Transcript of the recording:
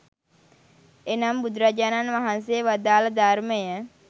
එනම් බුදුරජාණන් වහන්සේ වදාළ ධර්මය